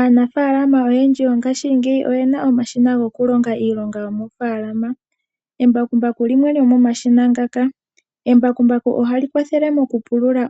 Aanafaalama oyendji yongashingeyi oyena omashina goku longa iilonga yomoofaalama ,embakumbaku limwe lyomomashina ngaka. Embakumbaku ohali kwathele